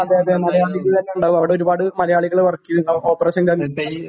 അതേ അതേ മലയാളികൾ തന്നെ ഉണ്ടാകും അവിടെ ഒരുപാട് മലയാളികൾ വർക്ക് ചെയ്യുന്നുണ്ടാകും ഓപ്പറേഷൻ